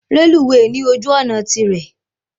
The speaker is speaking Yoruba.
Reluwe ní ojú òná tirě